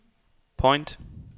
point